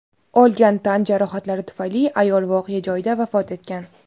Olgan tan jarohatlari tufayli ayol voqea joyida vafot etgan.